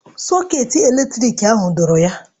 Sọketị eletrik ahụ dọọrọ ya.